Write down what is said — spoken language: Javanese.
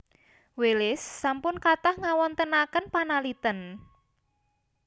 Wallace sampun kathah ngawontenaken panaliten